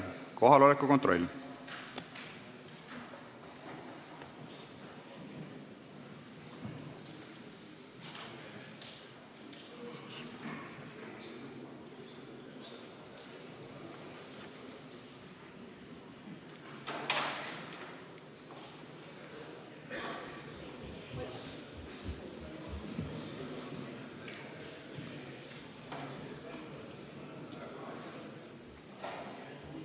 Nüüd palun kohaloleku kontroll!